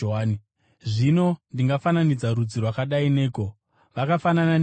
“Zvino, ndingafananidza rudzi rwakadai neiko? Vakafanana neiko?